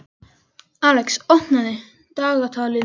Alex, opnaðu dagatalið mitt.